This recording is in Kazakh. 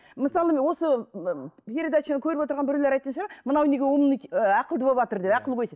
мысалы міне осы ммм ы передачаны көріп отырған біреулер айтатын шығар мынау неге умный ақылды болыпватыр деп ақылгөйсіп